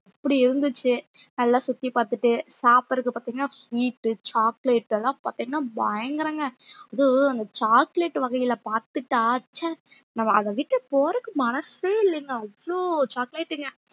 அப்படி இருந்துச்சு நல்லா சுத்தி பார்த்துட்டு சாப்பிடுறதுக்கு பார்த்தீங்கன்னா sweet, chocolate எல்லாம் பார்த்தீங்கன்னா பயங்கரங்க அதும் அந்த chocolate வகையில பார்த்துட்டா ச்சே நம்ம அதை நம்ம அதை விட்டு போறதுக்கு மனசே இல்லைங்க அவ்ளோ chocolate ங்க